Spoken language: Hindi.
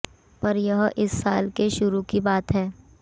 पर यह इस साल के शुरू की बात है